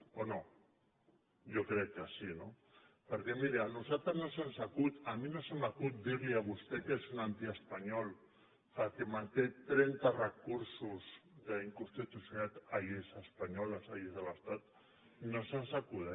o no jo crec que sí no perquè miri a nosaltres no se’ns acut a mi no se m’acut dir li a vostè que és un antiespanyol perquè manté trenta recursos d’inconstitucionalitat a lleis espanyoles a lleis de l’estat no se’ns acut